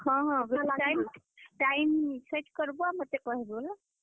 ହଁ ହଁ, time time set କର୍ ବ ଆଉ ମତେ କହେବ ହେଲା।